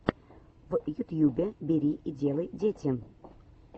в ютьюбе бери и делай дети